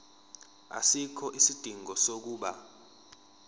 asikho isidingo sokuba